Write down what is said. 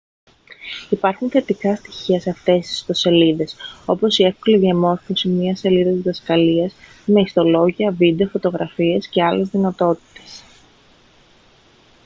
υπάρχουν θετικά στοιχεία σε αυτές τις ιστοσελίδες όπως η εύκολη διαμόρφωσης μιας σελίδας διδασκαλίας με ιστολόγια βίντεο φωτογραφίες και άλλες δυνατότητες